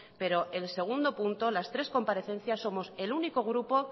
pero el segundo punto las tres comparecencias somos el único grupo